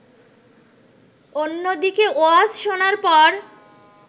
অন্যদিকে ওয়াজ শোনার পর